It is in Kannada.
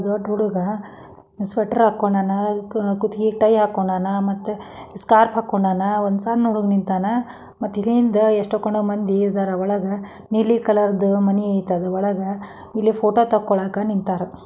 ದೊಡ್ಡ ಹುಡುಗ ಸ್ವೆಟರ್ ಹಾಕ್ಕೊಂಡಾನ ಅದು ಕುತ್ತಿಗೆಗೆ ಟೈ ಹಾಕೊಂಡಾನ ಮತ್ತೆ ಸ್ಕಾರ್ಫ್ ಹಾಕೊಂಡಾನ ಒಂದು ಸಣ್ಣ ಹುಡುಗ ನಿಂತಾನ ಮತ್ತು ಇಲ್ಲಿಂದ ಎಷ್ಟು ಕಣ ಮಂದಿ ಇದರ ಒಳಗ ನೀಲಿ ಕಲರ್ ದು ಮನಿ ಐತಿ ಒಳಗ ಇಲ್ಲಿ ಫೋಟೋ ತಕ್ಕೊಳಕೆ ನಿಂತರ.